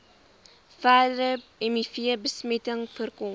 verdere mivbesmetting voorkom